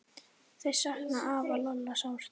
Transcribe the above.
Þau sakna afa Lolla sárt.